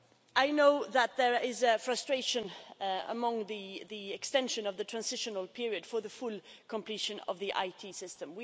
I know that there is frustration about the extension of the transitional period for the full completion of the IT system.